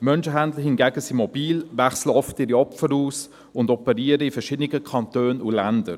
Menschhändler hingegen sind mobil, wechseln ihre Opfer oft aus und operieren in verschiedenen Kantonen und Ländern.